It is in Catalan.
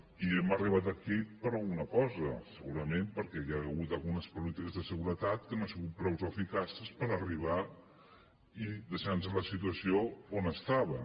i hem arribat aquí per alguna cosa segurament perquè hi han hagut algunes polítiques de seguretat que no han sigut prou eficaces per arribar i deixar nos la situació on estava